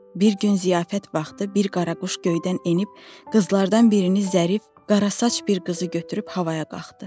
Bir gün ziyafət vaxtı bir qara quş göydən enib qızlardan birinin zərif qara saç bir qızı götürüb havaya qalxdı.